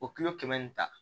O kilo kɛmɛ in ta